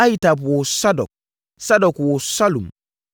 Ahitub woo Sadok, Sadok woo Salum,